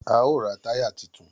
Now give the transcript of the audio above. A ó ra táyà titun